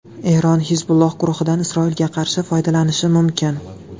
Eron Hizbulloh guruhidan Isroilga qarshi foydalanishi mumkin.